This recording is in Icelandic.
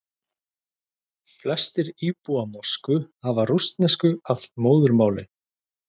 Flestir íbúa Moskvu hafa rússnesku að móðurmáli.